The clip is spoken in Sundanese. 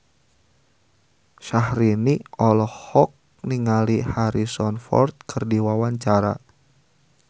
Syahrini olohok ningali Harrison Ford keur diwawancara